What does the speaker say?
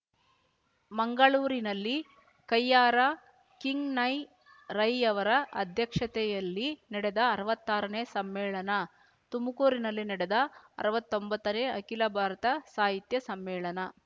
ಮಂಗಳೂರಿನಲ್ಲಿ ಕಯ್ಯಾರ ಕಿಞ್ಞಣ್ಣ ರೈಯವರ ಅಧ್ಯಕ್ಷತೆಯಲ್ಲಿ ನಡೆದ ಅರ್ವಾತ್ತಾರನೇ ಸಮ್ಮೇಳನ ತುಮಕೂರಿನಲ್ಲಿ ನಡೆದ ಅರ್ವತ್ತೊಂಬತ್ತನೇ ಅಖಿಲಭಾರತ ಸಾಹಿತ್ಯ ಸಮ್ಮೇಳನ